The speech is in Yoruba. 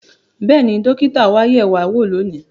Bẹ́ẹ̀ni, dókítà wa yẹ̀ wá wò lónìí